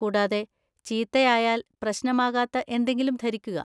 കൂടാതെ, ചീത്തയായായാല്‍ പ്രശ്‌നമാകാത്ത എന്തെങ്കിലും ധരിക്കുക!